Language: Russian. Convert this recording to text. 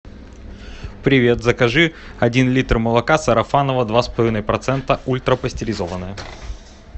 привет закажи один литр молока сарафаново два с половиной процента ультрапастеризованное